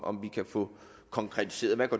om vi kan få konkretiseret hvad